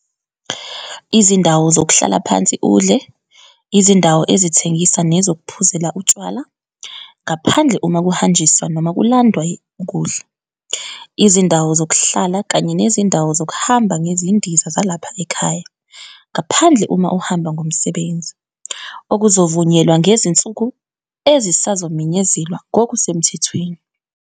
Izindawo zokuhlala phansi udle, izindawo ezithengisa nezokuphuzela utshwala, ngaphandle uma kuhanjiswa noma kulandwe ukudla. Izindawo zokuhlala kanye nezindawo zokuhamba ngezindiza zalapha ekhaya, ngaphandle uma uhamba ngomsebenzi, okuzovunyelwa ngezinsuku ezisazomenyezelwa ngokusemthethweni.